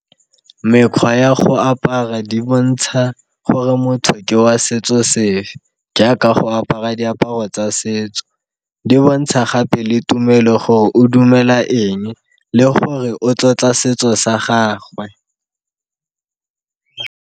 Mekgwa ya go apara di bontsha gore motho ke wa setso sefe jaaka go apara diaparo tsa setso, di bontsha gape le tumelo gore o dumela eng le gore o tlotla setso sa gagwe.